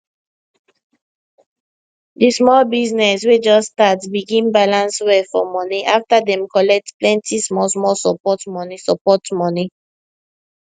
di small business wey just start begin balance well for money after dem collect plenty smallsmall support money support money